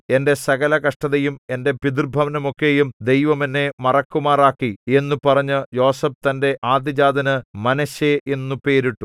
എന്റെ സകല കഷ്ടതയും എന്റെ പിതൃഭവനം ഒക്കെയും ദൈവം എന്നെ മറക്കുമാറാക്കി എന്നു പറഞ്ഞു യോസേഫ് തന്റെ ആദ്യജാതനു മനശ്ശെ എന്നു പേരിട്ടു